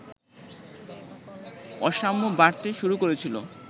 অসাম্য বাড়তে শুরু করেছিল